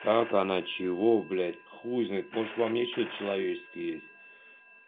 как она чего блядь хуй знает может во мне что-то человеческое есть